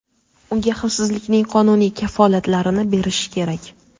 unga xavfsizlikning qonuniy kafolatlarini berishi kerak.